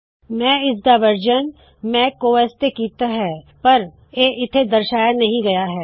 ਮੈ ਇਸਦਾ ਵਰਤਨ ਮੈਕ ਓਐੱਸ ਤੇ ਭੀ ਕੀਤਾ ਹੈ ਪਰ ਓਹ ਇੱਥੇ ਦਰਸ਼ਾਇਆ ਨਹੀ ਗਇਆ ਹੈ